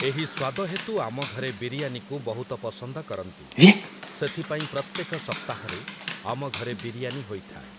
ଏହି ସ୍ଵାଦ ହେତୁ ଆମ ଘରେ ବିରିୟାନିକୁ ବହୁତ ପସନ୍ଦ କରନ୍ତି । ସେଥିପାଇଁ ପ୍ରତ୍ୟେକ ସପ୍ତାହରେ ଆମ ଘରେ ବିରିୟାନି ହୋଇଥାଏ ।